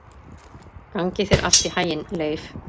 Gangi þér allt í haginn, Leif.